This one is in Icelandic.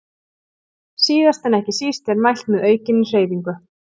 Síðast en ekki síst er mælt með aukinni hreyfingu.